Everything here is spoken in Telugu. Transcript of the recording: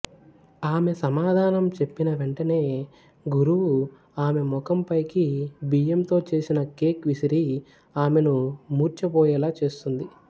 ఆమె సమాధానం చెప్పిన వెంటనే గురువు ఆమె ముఖంపైకి బియ్యంతో చేసిన కేక్ విసిరి ఆమెను మూర్ఛపోయేలా చేస్తుంది